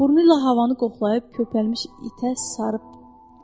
Burnula havanı qoxlayıb, köpərmiş itə sarı.